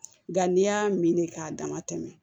Nka n'i y'a min k'a dama tɛmɛ